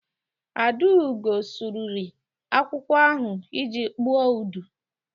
Adaugo sụrụri akwụkwọ ahụ iji kpụọ udu.